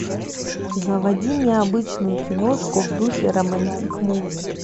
заводи необычную киношку в духе романтик муви